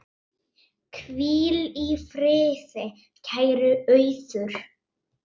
Hvíl í friði, kæra Auður.